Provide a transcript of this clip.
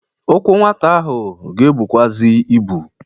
Ụkwụ nwata ahụ ga-ebukwazị ibu.